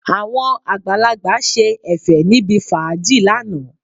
Àwọn àgbàlagbà ṣe Ẹ̀fẹ̀ níbi fàájì lánàá